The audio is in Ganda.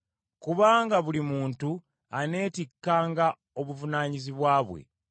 Kubanga buli muntu aneetikkanga obuvunaanyizibwa bwe.